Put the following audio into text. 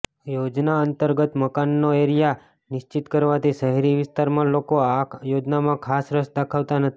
યોજના અંતર્ગત મકાનનો એરિયા નિશ્ચિત કરવાથી શહેરી વિસ્તારમાં લોકો આ યોજનામાં ખાસ રસ દાખવતા નથી